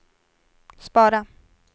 spara